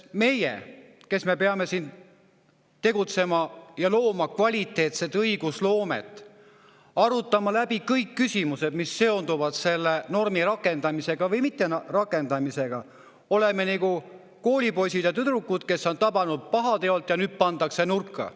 Meie, kes me peame siin tegutsema kvaliteetse õigusloomega, arutama läbi kõik küsimused, mis seonduvad selle normi rakendamisega või mitterakendamisega, oleme nagu koolipoisid ja ‑tüdrukud, kes on tabatud pahateolt ja nüüd pannakse nurka.